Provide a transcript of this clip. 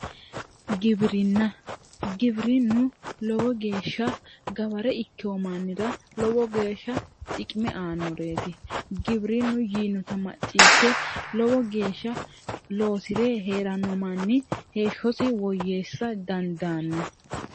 Giwirinna, giwirinu lowo geeshsha gaware ikkino mannira lowo geeshsha xiqime aanoreti giwirinu yiinotta macciishe loosire heerano manni heeshshosi woyyeessa dandaano.